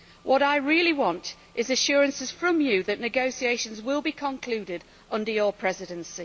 What I really want is assurances from you that negotiations will be concluded under your Presidency.